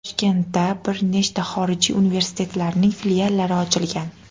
Toshkentda bir necha xorijiy universitetlarining filiallari ochilgan.